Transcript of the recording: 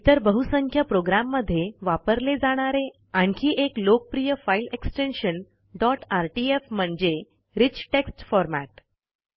इतर बहुसंख्य प्रोग्रॅम मध्ये वापरले जाणारे आणखी एक लोकप्रिय फाईल एक्सटेन्शन डॉट आरटीएफ म्हणजे रिच टेक्स्ट फॉर्मॅट